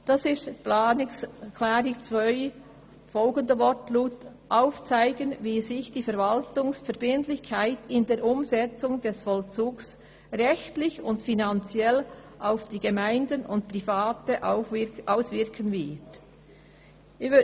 Die Regierung soll aufzeigen, wie sich die Verwaltungsverbindlichkeit in der Umsetzung des Vollzugs rechtlich und finanziell auf Gemeinden und Private auswirken wird.